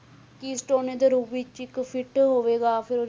Keystone ਦੇ ਰੂਪ ਵਿੱਚ ਇੱਕ fit ਹੋਵੇਗਾ ਫਿਰ,